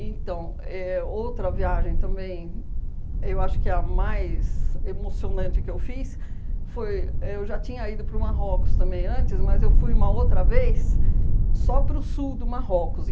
Então, éh outra viagem também, eu acho que a mais emocionante que eu fiz foi, eu já tinha ido para o Marrocos também antes, mas eu fui uma outra vez só para o sul do Marrocos.